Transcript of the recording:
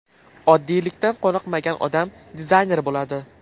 Oddiylikdan qoniqmagan odam dizayner bo‘ladi.